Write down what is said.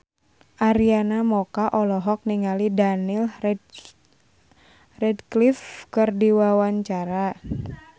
Arina Mocca olohok ningali Daniel Radcliffe keur diwawancara